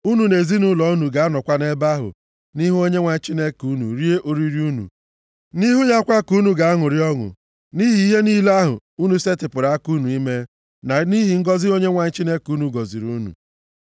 Unu na ezinaụlọ unu ga-anọkwa nʼebe ahụ, nʼihu Onyenwe anyị Chineke unu, rie oriri unu. Nʼihu ya kwa ka unu ga-aṅụrịkwa ọṅụ, nʼihi ihe niile ahụ unu setịpụrụ aka unu ime, na nʼihi ngọzị Onyenwe anyị Chineke unu gọziri unu.